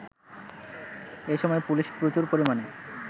এসময় পুলিশ প্রচুর পরিমাণে